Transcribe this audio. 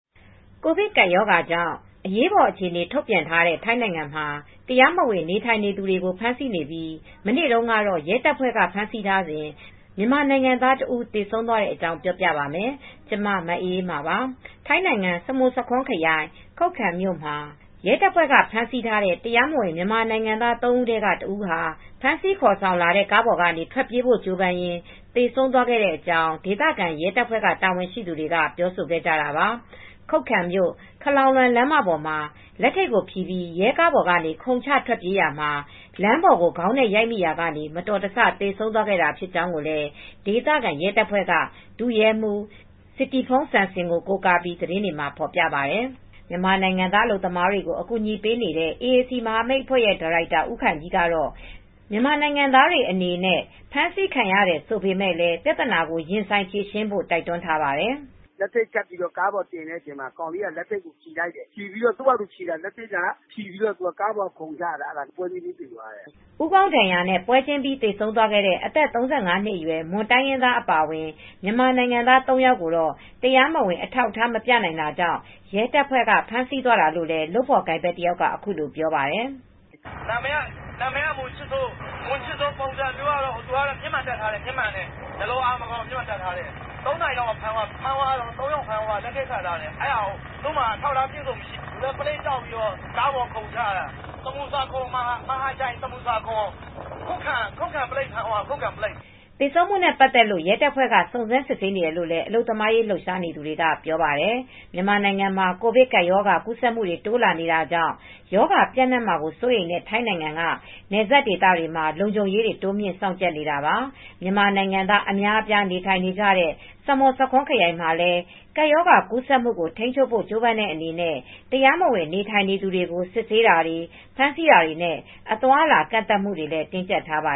ကိုဗစ်ကပ်ရောဂါကြောင့် အရေးပေါ်အခြေအနေ ထုတ်ပြန်ထားတဲ့ ထိုင်းနိုင်ငံမှာ တရားမဝင် နေထိုင်သူတွေကို ဖမ်းဆီးနေပြီး၊ မနေ့တုန်းကတော့ ရဲတပ်ဖွဲ့က ဖမ်းဆီးထားစဉ် မြန်မာနိုင်ငံသားတဦး သေဆုံးသွားတဲ့အကြောင်း ပြောပြပါမယ်။ ဗွီအိုအေမြန်မာပိုင်းသတင်းထောက် မအေးအေးမာက ထိုင်းမြန်မာနယ်စပ်ကနေ သတင်းပေးပို့ထားပါတယ်။ ထိုင်းနိုင်ငံမှာ စမုဆာခွန်း ခရိုင် ခုပ်ခံမြို့မှာ ရဲတပ်ဖွဲ့က ဖမ်းဆီးထားတဲ့ တရားမဝင် မြန်မာနိုင်ငံသား သုံး ဦးထဲက တစ် ဦးဟာ ဖမ်းဆီးခေါ်ဆောင်လာတဲ့ ကားပေါ်ကနေ ထွက်ပြေးဖို့ ကြိုးပမ်းရင်း သေဆုံးသွားတဲ့အကြောင်း ဒေသခံရဲတပ်ဖွဲ့ တာဝန်ရှိသူတွေက ပြောဆိုခဲ့ကြတာပါ။ ခုပ်ခံမြို့ ခလောင်လွမ် လမ်းမပေါ်မှာ လက်ထိပ်ကိုဖြည်ပြီး ရဲကားပေါ်က ခုန်ချထွက်ပြေးရာမှာ လမ်းပေါ်ကို ခေါင်းနဲ့ရိုက်မိရာက မတော်တဆ သေဆုံးခဲ့တာ ဖြစ်ကြောင်းလည်း ဒေသခံရဲတပ်ဖွဲ့က ဒုရဲမှူး စစ်တိဖုန်း စန်စင် ကို ကိုးကားပြီး သတင်းတွေက ဖော်ပြပါတယ်။ မြန်မာနိုင်ငံသား အလုပ်သမားတွေကို အကူညီပေးနေတဲ့ AAC မဟာမိတ်အဖွဲ့ ဒါရိုက်တာဦးခိုင်ကြီးကတော့ မြန်မာနိုင်ငံသားတွေအနေနဲ့ ဖမ်းဆီးခံရတယ်ဆိုပေမဲ့လည်း ပြဿနာကို ရင်ဆိုင်ဖြေရှင်းဖို့ တိုက်တွန်းထားပါတယ်။ "လက်ထိပ်ခတ်ပြီး ကားပေါ်တင်လိုက်တော့ ကောင်လေးက သူဘာ့သာ သူလက်ထိပ်ကိုဖြည်လိုက်တယ်။ ဖြည်ပြီးတော့ ကားပေါ်ကနေ ခုန်ချတာ အဲဒါကြောင့်ပွဲချင်းပြီး သေသွားတယ်။" ဦးခေါင်းဒဏ်ရာနဲ့ ပွဲချင်းပြီး သေဆုံးသွားသူ အသက် ၃၅ နှစ်အရွယ် မွန်တိုင်းရင်းသား အပါအဝင် မြန်မာနိုင်ငံသား သုံး ယောက်ကိုတော့ တရားမဝင် အထောက်အထား မပြနိုင်တာကြောင့် ရဲတပ်ဖွဲ့က ဖမ်းဆီးသွားတာလို့လည်း လုပ်ဖော်ကိုင်ဖက်တယောက်က အခုလို ပြောပါတယ်။ "နာမည်က မွန်ချစ်စိုး၊ ပုံစံက မျက်မှန်တပ်ထားတယ်။ မျက်လုံးအား မကောင်းဘူး။ ဖမ်းတာက သုံး ယောက်ဖမ်းသွားတယ်။ သူတို့က အထောက်အထား မရှိဘူး။ သူလည်းကြောက်ပြီး ပလိပ်ကားပေါ်ကနေ ခုန်ချတာ။ ဆာမွန်ဆာခွန်မဟာချိုင်ခုပ်ခံ ပလိပ်ဖမ်းသွားတာပါ။" သေဆုံးမှုနဲ့ ပတ်သက်လို့ ရဲတပ်ဖွဲ့က စုံစမ်းနေတယ်လို့လည်း အလုပ်သမားရေး လှုပ်ရှားသူတွေက ပြောပါတယ်။ မြန်မာနိုင်ငံမှာ ကိုဗစ်ကပ်ရောဂါ ကူးစက်မှုတွေ တိုးလာနေတာကြောင့် ရောဂါပျံ့နှံ့မှာ စိုးရိမ်တဲ့ ထိုင်းနိုင်ငံက နယ်စပ်ဒေသတွေမှာ လုံခြုံရေးတွေ တိုးမြှင့်စောင့်ကြပ်နေတာပါ။ မြန်မာနိုင်ငံသား အများအပြား နေထိုင်နေကြတဲ့ ဆမွတ်ဆာခွန်းခရိုင်မှာလည်း ကပ်ရောဂါကူးစက်မှုကို ထိန်းချုပ်ဖို့ ကြိုးပမ်းတဲ့အနေနဲ့ တရားမဝင်နေထိုင်သူတွေကို စစ်ဆေးတာတွေ၊ ဖမ်းဆီးတာတွေနဲ့ အသွားအလာ ကန့်သတ်မှုတွေလည်း တင်းကြပ်ထားပါ